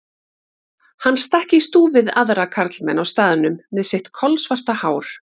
Hann stakk í stúf við aðra karlmenn á staðnum með sitt kolsvarta hár.